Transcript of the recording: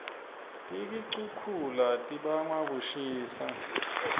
tikixukhula tibangwa kushisa